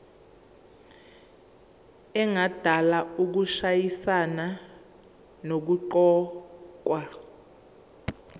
engadala ukushayisana nokuqokwa